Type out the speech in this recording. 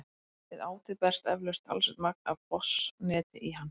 Við átið berst eflaust talsvert magn af botnseti í hann.